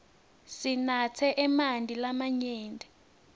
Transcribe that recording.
sinatse emanti lamanyenti